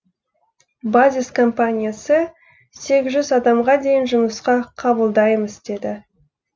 базис компаниясы сегіз жүз адамға дейін жұмысқа қабылдаймыз деді